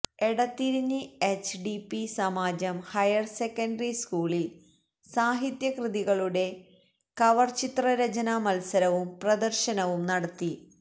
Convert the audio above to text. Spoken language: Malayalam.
എടതിരിഞ്ഞി എച്ച് ഡി പി സമാജം ഹയര് സെക്കന്ററി സ്കൂളില് സാഹിത്യകൃതികളുടെ കവര്ചിത്ര രചനാ മത്സരവും പ്രദര്ശനവും നടത്തി